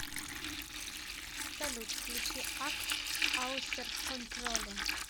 салют включи ак аусерконтроле